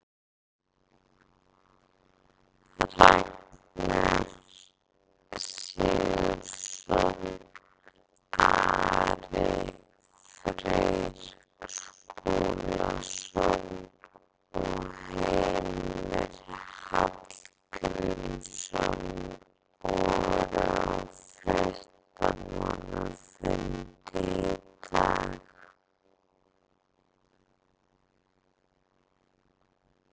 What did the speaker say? Ragnar Sigurðsson, Ari Freyr Skúlason og Heimir Hallgrímsson voru á fréttamannafundi í dag.